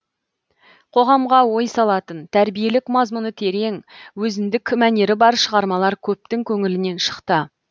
қоғамға ой салатын тәрбиелік мазмұны терең өзіндік мәнері бар шығармалар көптің көңілінен шықты